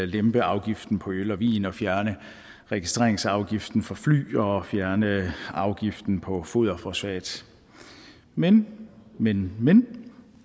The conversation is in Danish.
lempe afgiften på øl og vin og fjerne registreringsafgiften for fly og fjerne afgiften på foderfosfat men men men